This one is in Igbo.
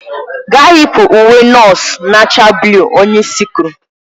Gaa yipụ ​​n'uwe nọọsụ na-acha buluu! onye isi kwuru.